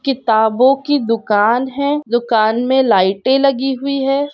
किताबों की दुकान है। दुकान में लाइटें लगी हुई है ।